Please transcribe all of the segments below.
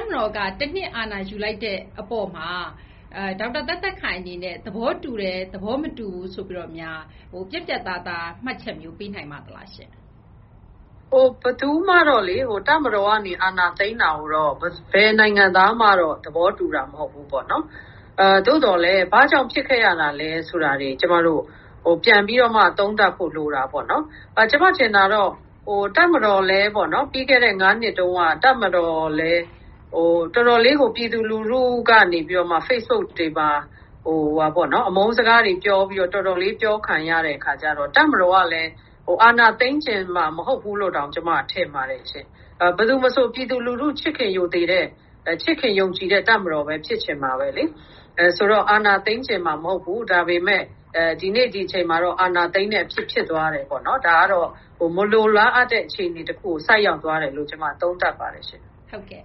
ပ်မတော်က ၁ နှစ်အာဏာယူလိုက်တဲ့အပေါ်မှာ ဒေါက်တာ သက်သက်ခိုင်အနေနဲ့ သဘောတူတယ်၊ သဘောမတူဘူးဆိုပြီးတော့များ ပြတ်ပြတ်သားသား မှတ်ချက်မျိုး ပေးနိုင်ပါသလားရှင့်။ ဘယ်သူမှတော့ တပ်မတော်ကနေ အာဏာသိမ်းတာကိုတော့ ဘယ်နိုင်ငံသားမှတော့ သဘောတူတာ မဟုတ်ဘူးပေါ့နော် ။ သို့သော်လည်း ဘာကြောင့်ဖြစ်ခဲ့ရတာလည်းဆိုတာတွေ ကျမတို့ ပြန်ပြီးတော့မှ သုံးသပ်ဖို့ လိုတာပေါ့နော်။ ကျမထင်တာတော့ တပ်မတော်လည်း ပြီးခဲ့တဲ့ ၅ နှစ်တုန်းက တပ်မတော်လည်း တော်တော်လေးကို ပြည်သူလူထုကနေ Facebook တွေမှာ အမုန်းစကားတွေတော်တော်လေးပြောခံရတဲ့ အခါကျတော့ တပ်မတော်ကလည်း အာဏာသိမ်းချင်မှာ မဟုတ်ဘူးလို့တောင် ကျမထင်ပါတယ်ရှင့်။ ဘယ်သူမဆို ပြည်သူလူထု ချစ်ခင်ရိုသေတဲ့ ၊ ချစ်ခင်ယုံကြည်တဲ့ တပ်မတော်ပဲ ဖြစ်ချင်မှာပဲလေ။ ဆိုတော့ အာဏာသိမ်းချင်မှာမဟုတ်ဘူး။ ဒါပေမယ့် ဒီနေ့ဒီအချိန်မှာတော့ အာဏာသိမ်းတဲ့အထိ ဖြစ်သွားတယ်ပေါ့နော်။ ဒါကတော့ မလိုလားအပ်တဲ့ အခြေအနေတခုကို ဆိုက်ရောက်သွားတယ်လို့ ကျမ သုံးသပ်ပါတယ်ရှင့်။ ဟုတ်ကဲ့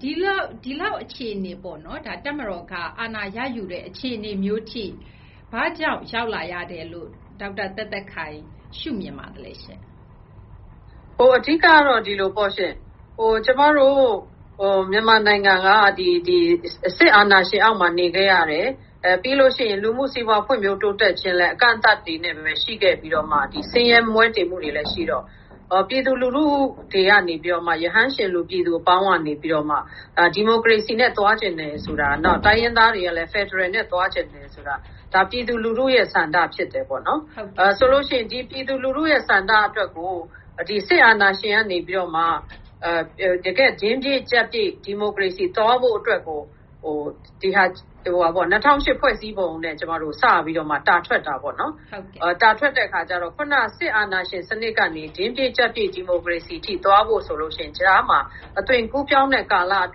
ဒီလောက်အခြေအနေပေါ့နော် တပ်မတော်က အာဏာရယူတဲ့ အခြေအနေမျိုးအထိ ဘာကြောင့်ရောက်လာရတယ်လို့ ဒေါက်တာ သက်သက်ခိုင်ရှုမြင်ပါသလဲရှင့်။ အဓိကတော့ ဒီလိုပေါ့ရှင့် ကျမတို့ မြန်မာနိုင်ငံက စစ်အာဏာရှင်အောက်မှာ နေခဲ့ရတယ်၊ ပြီးလို့ရှိရင် လူမှုစီးပွား ဖွံ့ဖြိုးတိုးတက်ခြင်းလည်း အကန့်အသတ်တွေနဲ့ရှိခဲ့ပြီးတော့မှ ဆင်းရဲမွဲတေမှုတွေလည်းရှိတော့ ပြည်သူလူထုတွေကနေပြီးတော့ ရဟန်းရှင်လူ ပြည်သူအပေါင်းကနေပြီးတော့မှ ဒီမိုကရေစီနဲ့ သွားချင်တယ်ဆိုတာ ၊ နောက် တိုင်းရင်းသားတွေကလည်း ဖယ်ဒရယ်နဲ့ သွားချင်တယ်ဆိုတာ ဒါက ပြည်သူလူထုရဲ့ ဆန္ဒဖြစ်တယ်ပေါ့နော်။ ဆိုလို့ရှိရင် ပြည်သူလူထုရဲ့ ဆန္ဒအတွက်ကို စစ်အာဏာရှင်ကနေပြီးတော့မှ တင်းပြည့် ကျပ်ပြည့် ဒီမိုကရေစီနဲ့ သွားဖို့အတွက်ကို ၂၀၀၈ ဖွဲ့စည်းပုံနဲ့ စပြီးတော့မှ တာထွက်တာပေါ့နော်။ တာထွက်တော့ ခုနက စစ်အာဏာရှင်စနစ်ကနေ တင်းပြည့် ကျပ်ပြည့် ဒီမိုကရေစီ အထိ သွားဖို့ဆိုရင် ကြားမှာ အသွင်ကူးပြောင်းတဲ့ကာလအ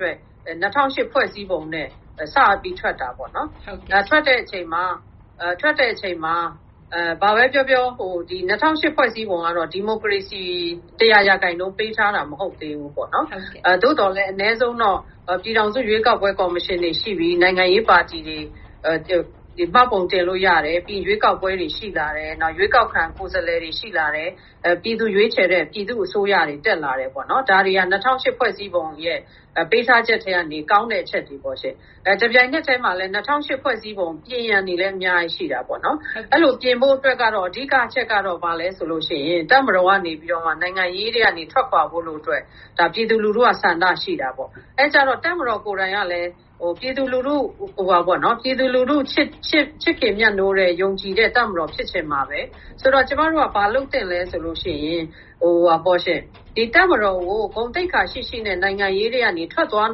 တွက် ၂၀၀၈ ဖွဲ့စည်းပုံနဲ့ စပြီးတော့မှ တာထွက်တာပေါ့နော်။ ထွက်တဲ့အချိန်မှာ ဘာပဲပြောပြော ၂၀၀၈ ဖွဲ့စည်းပုံကတော့ ဒီမိုကရေစီ ၁၀၀ ရာခိုင်နှုန်းပေးထားတာ မဟုတ်သေးဘူး။ သို့သော်လည်း အနည်းဆုံးတော့ ပြည်ထောင်စုရွေးကောက်ပွဲ ကော်မရှင်တွေရှိပြီ၊ နိုင်ငံရေးပါတီတွေ မှတ်ပုံတင်လို့ရတယ်။ ရွေးကောက်ပွဲ တွေရှိလာတယ် ၊ ရွေးကောက်ခံကိုယ်စားလှယ်တွေ ရှိလာတယ်။ ပြည်သူရွေးချယ်တဲ့ ပြည်သူ့အစိုးရတွေ တက်လာတယ်ပေါ့နော်။ ဒါတွေဟာ ၂၀၀၈ ဖွဲ့စည်းပုံရဲ့ ပေးထားတဲ့အချက်ထဲကနေ ကောင်းတဲ့ အချက်တွေပေါ့ရှင့်။ တပြိုင်နက်ထဲမှာလည်း ၂၀၀၈ ဖွဲ့စည်းပုံ ပြင်ရန်တွေလည်း အများကြီး ရှိတာပေါ့နော်။ အဲလိုပြင်ဖို့အတွက်ကို အဓိက အချက်ကတော့ ဘာလဲဆိုရင် တပ်မတော်ကနေပြီးတော့ နိုင်ငံရေးထဲကနေ ထွက်ခွာဖို့အတွက် ပြည်သူလူထုက ဆန္ဒရှိတာပေါ့။ အဲဒီအခါကျတော့ တပ်မတော်ကလည်း ပြည်သူလူထုချစ်ခင် မြတ်နိုးတဲ့ ၊ ယုံကြည်တဲ့ တပ်မတော်ဖြစ်ချင်မှာပဲ။ ဆိုတော့ ကျမတို့က ဘာလုပ်သင့်သလဲဆိုရင် ဒီတပ်မတော်ကို ဂုဏ်သိက္ခာရှိရှိနဲ့ နိုင်ငံရေးထဲကနေ ထွက်သွား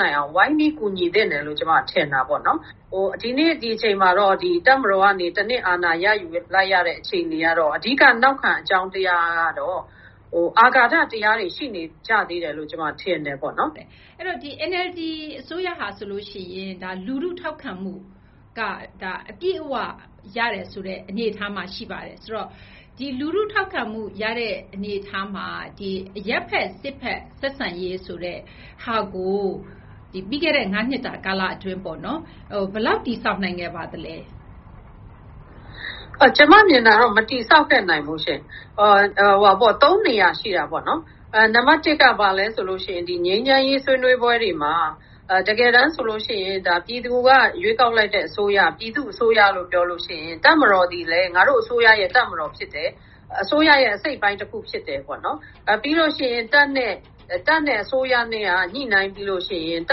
နိုင်အောင် ဝိုင်းပြီး ကူညီသင့်တယ်လို့ ကျမက ထင်တာပေါ့နော်။ ဒီနေ့ ဒီအချိန်မှာတော့ တပ်မတော်ကနေ ၁ နှစ် အာဏာ ယူလိုက်ရတဲ့အခြေအနေကတော့ အဓိက နောက်ခံအကြောင်းတရားကတော့ အာဃာတ တရားတွေ ရှိနေကြသေးတယ်လို့ ကျမကတော့ ထင်တယ်ပေါ့နော်။ အဲဒီတော့ NLD အစိုးရဟာဆိုရင် လူထုထောက်ခံမှုက အပြည့်အ၀ ရတယ်ဆိုတဲ့ အနေအထားမှာ ရှိပါတယ်။ ဆိုတော့ လူထုထောက်ခံမှုရတဲ့ အနေအထားမှာ အရပ်ဘက် စစ်ဘက် ဆက်ဆံရေးဆိုတဲ့ဟာကို ပြီးခဲ့တဲ့ ၅ နှစ်တာ ကာလအတွင်း ဘယ်လောက်တည်ဆောက်နိုင်ခဲ့ပါသလဲ။ ကျမမြင်တာကတော့ မတည်ဆောက်ခဲ့နိုင်ဘူးရှင့် ။ ၃ နေရာရှိတာပေါ့နော်။ နံပတ် ၁ က ဘာလဲဆိုရင် ငြိမ်းချမ်းရေးဆွေးနွေးပွဲတွေမှာ တကယ်တမ်းဆိုရင် ပြည်သူက ရွေးကောက်လိုက်တဲ့အစိုးရ၊ ပြည်သူ့အစိုးရလို့ ပြောရင်၊ တပ်မတော်သည်လည်း ငါတို့အစိုးရရဲ့ တပ်မတော်ဖြစ်တယ်။ အစိုးရရဲ့အစိတ်အပိုင်းတခုဖြစ်တယ်။ ပြီးလို့ရှိရင် တပ်နဲ့အစိုးရနဲ့က ညှိနှိုင်းပြီးရင် တ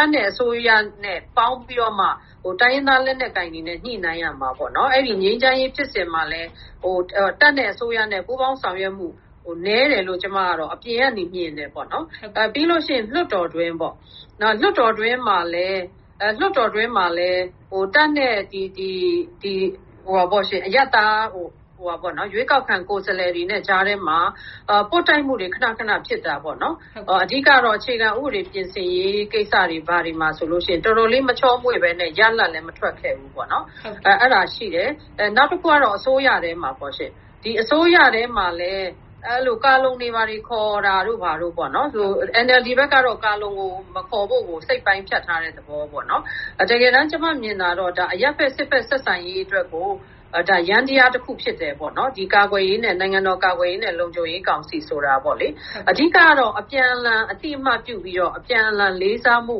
ပ်နဲ့အစိုးရနဲ့ပေါင်းပြီးတော့မှ တိုင်းရင်းသားလက်နက်ကိုင်တွေနဲ့ ညှိနှိုင်းရမှာပေါ့နော်။ ငြိမ်းချမ်းရေးဖြစ်စဉ်မှာလည်း တပ်နဲ့အစိုးရနဲ့က ပူးပေါင်းဆောင်ရွက်မှု နည်းတယ်လို့ ကျမကတော့ အပြင်ကနေ မြင်တယ်ပေါ့နော်။ ပြီးရင် လွှတ်တော်အတွင်းပေါ့ ၊ လွှတ်တော်အတွင်းမှာလည်း တပ်နဲ့ ရွေးကောက်ခံကိုယ်စားလှယ်တွေနဲ့ ကြားထဲမှာ ပွတ်တိုက်မှုတွေ ခဏခဏဖြစ်တာပေါေ့နာ်။ အဓိကတော့ အခြေခံဥပဒေပြင်ဆင်ရေး ကိစ္စတွေမှာဆိုရင် တော်တော်လေး မချောမွေ့ပဲနဲ့ ရလဒ်လည်း မထွက်ခဲ့ဘူးပေါေ့နာ်။ အဲဒါရှိတယ်။ နောက်တခုကတော့ အစိုးရထဲမှာပေါ့ရှင့်။ ဒီအစိုးရထဲမှာလည်း ကာလုံတွေဘာတွေခေါ်တာတို့ ဘာတို့ပေါ့နော် ။ NLD ဘက်က ကာလုံမခေါ်ဖို့ စိတ်ပိုင်းဖြတ်ထားတဲ့သဘောပေါ့နော်။ တကယ်တမ်း ကျမမြင်တာကတော့ အရပ်ဘက် စစ်ဘက် ဆက်ဆံရေးဆိုတာ ယန္တယားတခု ဖြစ်တယ်ပေါနော်။ နိုင်ငံတော်ကာကွယ်ရေးနဲ့ လုံခြုံရေးကောင်စီဆိုတာ ။ အဓိကတော့ အပြန်အလှန် အသိအမှတ်ပြုပြီးတော့ အပြန်အလှန် လေးစားမှု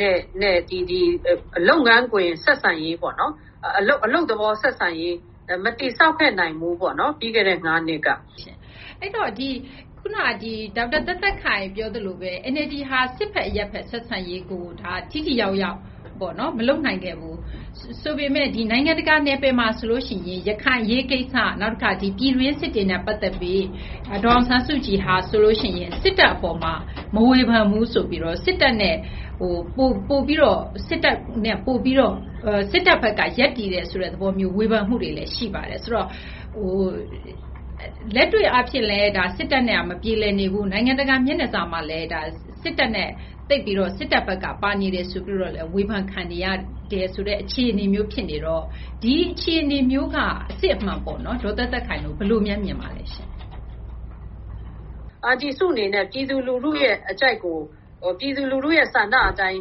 နဲ့ အလုပ်သဘောဆက်ဆံရေး မတည်ဆောက်ခဲ့နိုင်ဘူးပေါေ့နာ်။ ပြီးခဲ့တဲ့ ၅ နှစ်က။ အဲဒီတော့ ခုနက ဒေါက်တာ သက်သက်ခိုင် ပြောသလိုပဲ NLD က စစ်ဘက် အရပ်ဘက်ဆက်ဆံရေးကို ထိထိရောက်ရောက် မလုပ်နိုင်ခဲ့ဘူးဆိုပေမယ့် နိုင်ငံတကာ နယ်ပယ်မှာဆိုရင် ရခိုင်အရေးကိစ္စ ၊ နောက်တခါ ပြည်တွင်းစစ်တွေနဲ့ ပတ်သက်ပြီး ဒေါ်အောင်ဆန်းစုကြည်က စစ်တပ်အပေါ်မှာ မဝေဖန်ဘူးဆိုပြီးတော့ စစ်တပ်ဘက်က ရပ်တည်တယ်ဆိုတဲ့ သဘောမျိုး ဝေဖန်မှုတွေလည်း ရှိပါတယ်။ ဆိုတော့ လက်တွေ့အားဖြင့်လည်း ဒါက စစ်တပ်နဲ့က မပြေလည်နေဘူး ၊ နိုင်ငံတကာမျက်နှာစာမှာလည်း စစ်တပ်ဘက်က ပါနေတယ်ဆိုပြီးတော့ ဝေဖန်ခံနေရတယ်ဆိုတဲ့ အခြေအနေမျိုး ဖြစ်နေတော့ ဒီအခြေအနေမျိုးက အစစ်အမှန်ပေါ့နော် ဒေါက်တာ သက်သက်ခိုင်တို့ ဘယ်လိုများမြင်ပါသလဲ။ အန်တီစုအနေနဲ့ ပြည်သူလူထုရဲ့အကြိုက်ကို ၊ ပြည်သူလူထုရဲ့ဆန္ဒအတိုင်း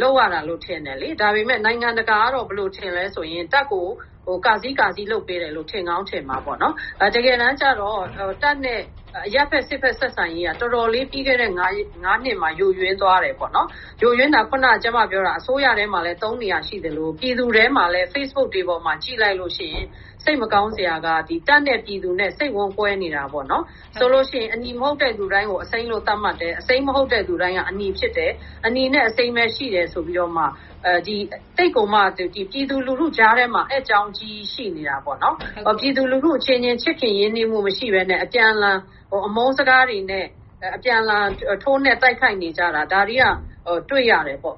လုပ်ရတာလို့ ထင်တယ်လေ။ ဒါပေမယ့် နိုင်ငံတကာကတော့ ဘယ်လိုထင်သလဲဆိုရင် တပ်ကို ကာဆီးကာဆီး လုပ်ပေးတယ်လို့ ထင်ကောင်းထင်မှာပေါ့နော်။ တကယ်တမ်းကျတော့ တပ်နဲ့ အရပ်ဘက် စစ်ဘက် ဆက်ဆံရေးက တော်တော်းလေး ဒီ ၅ နှစ်မှာ ယိုယွင်းသွားတယ်ပေါ့နော်။ ယိုယွင်းတာ ခုန ကျမပြောတာ အစိုးရထဲမှာလည်း ၃ နေရာရှိသလို ၊ ပြည်သူထဲမှာလည်း Facebook တွေအပေါ်မှာ ကြည့်လိုက်ရင် စိတ်မကောင်းစရာက တပ်နဲ့ ပြည်သူနဲ့ စိတ်ဝမ်းကွဲနေတာပေါ့နော်။ ဆိုလို့ရှိရင် အနီ မဟုတ်တဲ့ သူတိုင်းကို အစိမ်းလို့ သတ်မှတ်တယ်။ အစိမ်း မဟုတ်သူတိုင်းက အနီဖြစ်တယ်။ အနီနဲ့အစိမ်း ပဲရှိတယ်ဆိုပြီးတော့မှ သိပ်ကိုမှ ပြည်သူလူထုကြားထဲမှာ အက်ကြောင်း အကြီးကြီးရှိနေတာပေါ့နော်။ ပြည်သူလူထု အချင်းချင်း ချစ်ခင်ရင်းနှီးမှုမရှိဘဲနဲ့ အပြန်အလှန် အမုန်းစကားတွေနဲ့ ၊ အပြန်အလှန် ထိုးနှက် တိုက်ခိုက်နေကြတာ ဒါတွေက တွေ့ရတယ်ပေါ့